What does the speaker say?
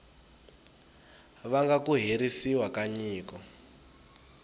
vanga ku herisiwa ka nyiko